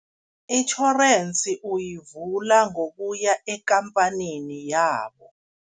Itjhorensi uyivula ngokuya ekhamphanini yabo.